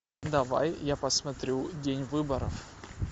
давай я посмотрю день выборов